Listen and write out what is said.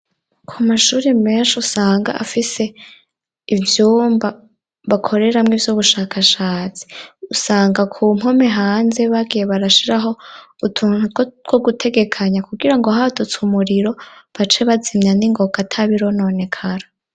ku mashure menshi usanga afise ivyumba bakoreramwi ivy'ubushakashatsi. Usanga ku mpome hanze bagiye barashiraho utuntu two gutegekanya kugira ngo hatutse umuriro bace bazimya n'ingoka atabirononekara.